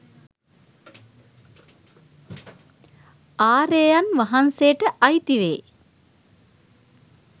ආර්යයන් වහන්සේට අයිති වේ.